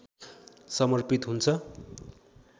समर्पित हुन्छ